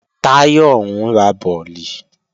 Táyọ̀ ń ra bọ̀lì